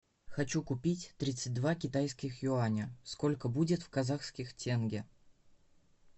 хочу купить тридцать два китайских юаня сколько будет в казахских тенге